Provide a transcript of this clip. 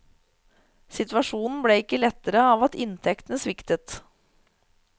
Situasjonen ble ikke lettere av at inntektene sviktet.